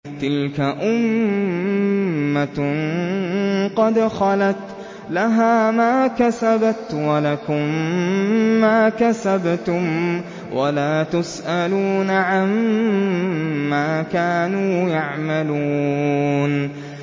تِلْكَ أُمَّةٌ قَدْ خَلَتْ ۖ لَهَا مَا كَسَبَتْ وَلَكُم مَّا كَسَبْتُمْ ۖ وَلَا تُسْأَلُونَ عَمَّا كَانُوا يَعْمَلُونَ